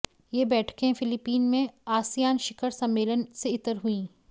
ये बैठकें फिलीपीन में आसियान शिखर सम्मेलन से इतर हुईं